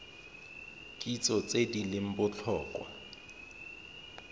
kitso tse di leng botlhokwa